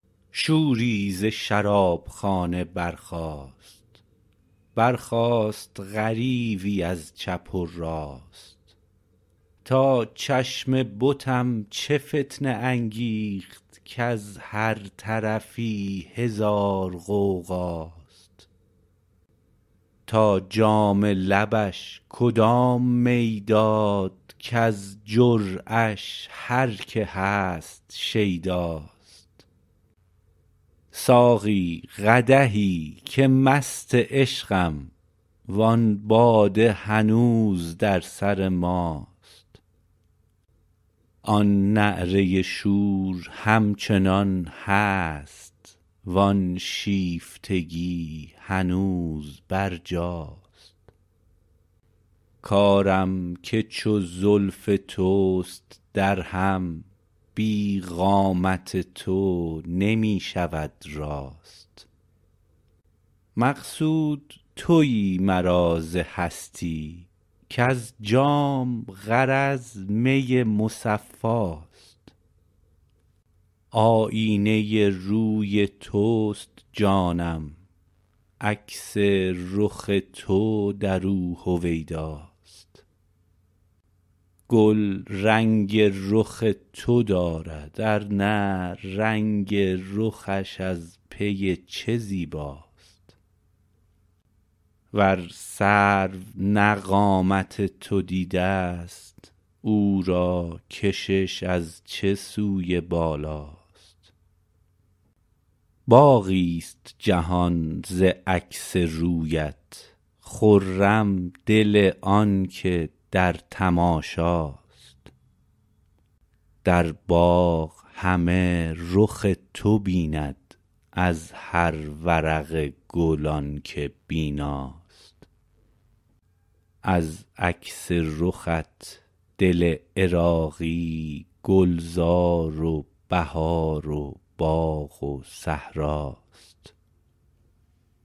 شوری ز شرابخانه برخاست برخاست غریوی از چپ و راست تا چشم بتم چه فتنه انگیخت کز هر طرفی هزار غوغاست تا جام لبش کدام می داد کز جرعه اش هر که هست شیداست ساقی قدحی که مست عشقم و آن باده هنوز در سر ماست آن نعره شور هم چنان هست وآن شیفتگی هنوز برجاست کارم که چو زلف توست در هم بی قامت تو نمی شود راست مقصود تویی مرا ز هستی کز جام غرض می مصفاست آیینه روی توست جانم عکس رخ تو درو هویداست گل رنگ رخ تو دارد ارنه رنگ رخش از پی چه زیباست ور سرو نه قامت تو دیده است او را کشش از چه سوی بالاست باغی است جهان ز عکس رویت خرم دل آن که در تماشاست در باغ همه رخ تو بیند از هر ورق گل آن که بیناست از عکس رخت دل عراقی گلزار و بهار و باغ و صحراست